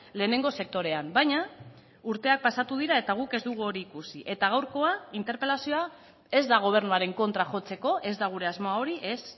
lehenengo sektorean baina urteak pasatu dira eta guk ez dugu hori ikusi eta gaurkoa interpelazioa ez da gobernuaren kontra jotzeko ez da gure asmoa hori ez